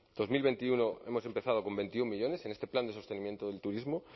dos mil veintiuno hemos empezado con veintiuno millónes en este plan de sostenimiento del turismo